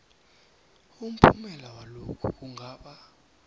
umphumela walokhu kungaba